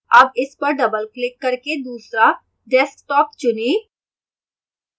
double इस पर doubleक्लिक करके दूसरा desktop चुनें